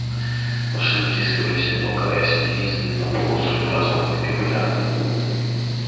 машины втискивались толкаясь в единственный на полуострове транспортный капилляр